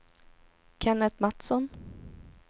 Kenneth Matsson